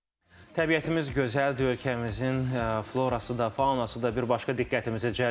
Təbiətimiz gözəldir, ölkəmizin florası da, faunası da bir başqa diqqətimizi cəlb edir.